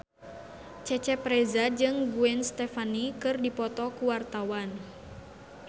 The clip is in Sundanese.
Cecep Reza jeung Gwen Stefani keur dipoto ku wartawan